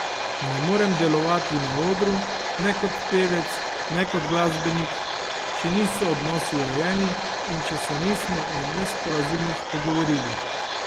Ne morem delovati na odru, ne kot pevec ne kot glasbenik, če niso odnosi urejeni, in če se nismo o nesporazumih pogovorili.